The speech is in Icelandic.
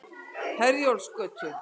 Herjólfsgötu